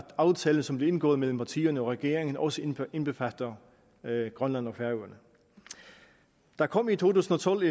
aftalen som blev indgået mellem partierne og regeringen også indbefatter grønland og færøerne der kom i to tusind og tolv